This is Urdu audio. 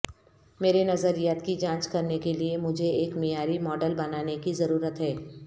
میرے نظریات کی جانچ کرنے کے لئے مجھے ایک معیاری ماڈل بنانے کی ضرورت ہے